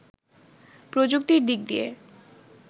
প্রযুক্তির দিক দিয়ে